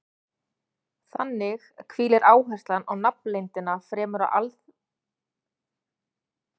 Þannig hvílir áherslan á nafnleyndina fremur á alþýðlegri skýringu en guðfræðilegri túlkun.